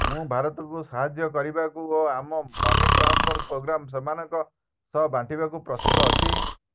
ମୁଁ ଭାରତକୁ ସାହାଯ୍ୟ କରିବାକୁ ଓ ଆମ ମନି ଟ୍ରାନ୍ସଫର ପୋଗ୍ରାମ ସେମାନଙ୍କ ସହ ବାଣ୍ଟିବାକୁ ପ୍ରସ୍ତୁତ ଅଛି